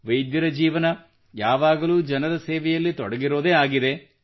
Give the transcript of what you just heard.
ವೈದ್ಯರ ಜೀವನ ಯಾವಾಗಲೂ ಜನರ ಸೇವೆಯಲ್ಲಿ ತೊಡಗಿರುವುದೇ ಆಗಿದೆ